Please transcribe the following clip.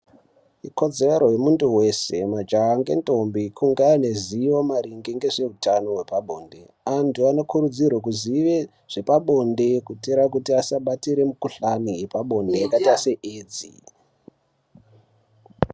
Ikodzero yemunthu wese majaha ngendombi kunga aine zivo maringe nezveutano hwepabonde. Antu anokurudzirwe kuzive zvepabonde, kuitira kuti asabatire mikhuhlani yepabonde ,yakaita seedzi.